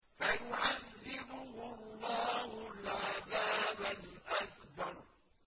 فَيُعَذِّبُهُ اللَّهُ الْعَذَابَ الْأَكْبَرَ